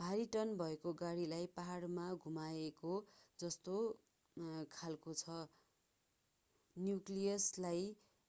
भारी टन्न भएको गाडालाई पहाडमा घुमाएको जस्तो खालको छ न्यूक्लियसलाई